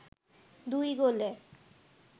দুই গোলে